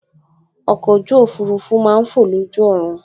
Ọkọ̀ ojú òfurufú máa n fọ̀ lójú ọ̀run